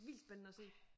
Vildt spændende at se